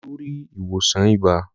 Olú rí ìwòsàn ibà.